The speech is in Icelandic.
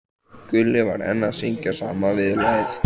Gulli var enn að syngja sama viðlagið.